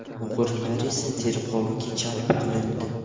O‘g‘rilar esa tergovga jalb qilindi.